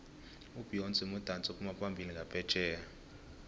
ubeyonce mudatsi ophumaphambili nqaphetjheya